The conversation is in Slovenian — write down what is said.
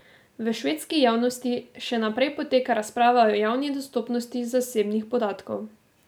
V švedski javnosti še naprej poteka razprava o javni dostopnosti zasebnih podatkov.